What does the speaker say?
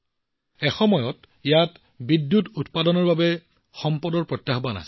এসময়ত বিদ্যুৎ উৎপাদনৰ বাবে সম্পদ এক প্ৰত্যাহ্বান আছিল